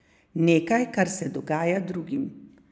Nekaj, kar se dogaja drugim.